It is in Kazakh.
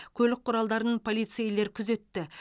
көлік құралдарын полицейлер күзетті